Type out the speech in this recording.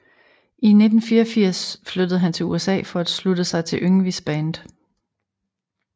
I 1984 flyttede han til USA for at slutte sig til Yngwies band